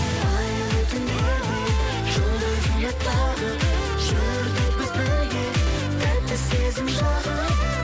айлы түндерде жұлдыз үміт тағып жүрдік біз бірге тәтті сезім жағып